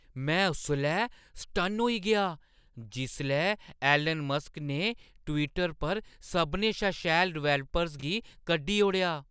में उसलै सटन्न होई गेआ जिसलै एलन मस्क ने ट्विटर पर सभनें शा शैल डेवलपर्स गी कड्ढी ओड़ेआ ।